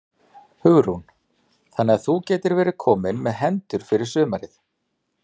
Hugrún: Þannig að þú gætir verið kominn með hendur fyrir sumarið?